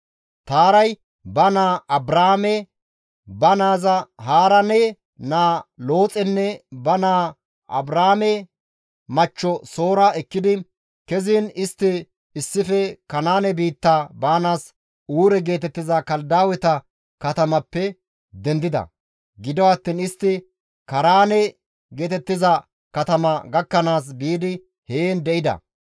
Taaray ba naa Abraame, ba naaza Haaraane naa Looxenne ba naa Abraame machcho Soora ekkidi keziin istti issife Kanaane biitta baanaas Uure geetettiza Kaladaaweta katamappe dendida; gido attiin istti Kaaraane geetettiza katama gakkanaas biidi heen de7ida.